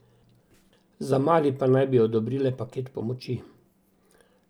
Za Mali pa naj bi odobrile paket pomoči.